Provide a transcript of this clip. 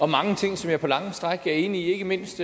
mange ting som jeg på lange stræk er enig i ikke mindst